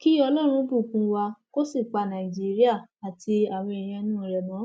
kí ọlọrun bùkún wa kó sì pa nàìjíríà àti àwọn èèyàn inú rẹ mọ